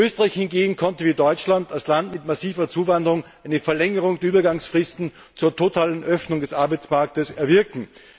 Österreich hingegen konnte wie Deutschland als Land mit massiver Zuwanderung eine Verlängerung der Übergangsfristen bis zur totalen Öffnung des Arbeitsmarktes erwirken.